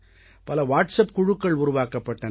பல வாட்ஸப் குழுக்கள் உருவாக்கப்பட்டன